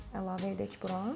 Əlavə edək bura.